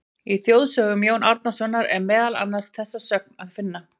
Í Þjóðsögum Jóns Árnasonar er meðal annars þessa sögn að finna: